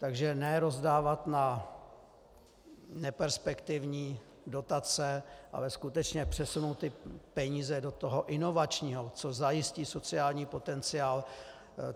Takže ne rozdávat na neperspektivní dotace, ale skutečně přesunout peníze do toho inovačního, co zajistí sociální potenciál.